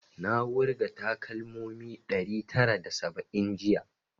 Na wurga takalmomi ɗari tara da saba'in jiya